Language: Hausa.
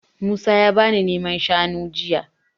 Musa ya bani naman shanu jiya.